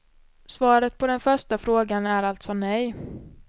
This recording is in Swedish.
Svaret på den första frågan är alltså nej.